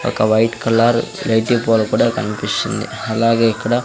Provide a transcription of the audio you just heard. ఒక white colour light pole కూడా కనిపిస్తుంది అలాగే ఇక్కడ --